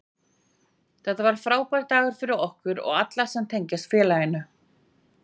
Þetta var frábær dagur fyrir okkur og alla sem tengjast félaginu.